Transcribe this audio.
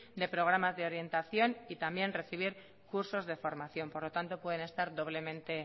de programas de orientación y también recibir cursos de formación por lo tanto pueden estar doblemente